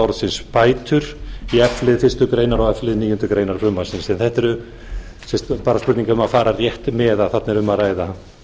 í f lið fyrstu grein og f lið níundu grein frumvarpsins en þetta er bara spurning um að fara rétt með að þarna er um að ræða